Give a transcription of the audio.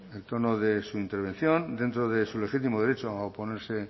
el tono de su intervención dentro de su legítimo derecho a oponerse